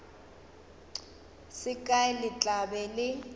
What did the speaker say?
se kae le tla be